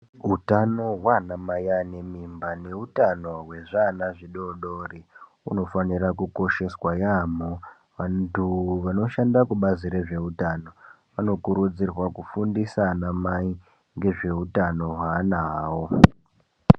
Utano hweanamai vanemimba neutano wezviana zvidodori unofanira kukosheswa yamho. Vantu vanoshanda kubazi rezveutano ,vanokurudzirwa kufundisa anamai ngezveutano hweana awo.